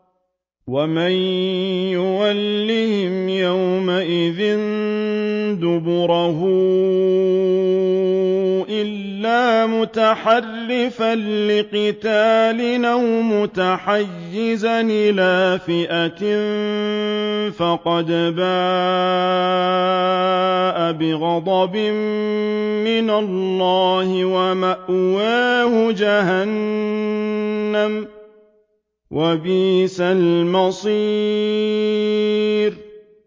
وَمَن يُوَلِّهِمْ يَوْمَئِذٍ دُبُرَهُ إِلَّا مُتَحَرِّفًا لِّقِتَالٍ أَوْ مُتَحَيِّزًا إِلَىٰ فِئَةٍ فَقَدْ بَاءَ بِغَضَبٍ مِّنَ اللَّهِ وَمَأْوَاهُ جَهَنَّمُ ۖ وَبِئْسَ الْمَصِيرُ